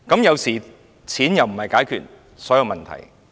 有時候，錢無法解決所有問題。